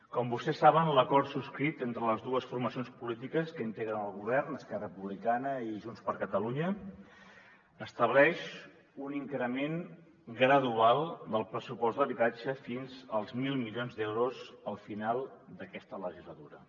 com vostès saben l’acord subscrit entre les dues formacions polítiques que integren el govern esquerra republicana i junts per catalunya estableix un increment gradual del pressupost d’habitatge fins als mil milions d’euros al final d’aquesta legislatura